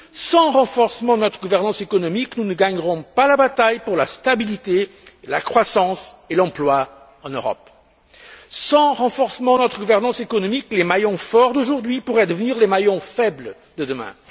Sans renforcement de notre gouvernance économique, nous ne gagnerons pas la bataille pour la stabilité, la croissance et l'emploi en Europe. Sans renforcement de notre gouvernance économique, les maillons forts d'aujourd'hui pourraient devenir les maillons faibles de demain.